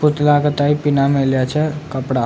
पुतला का टाइप पीना मिला छ कपड़ा।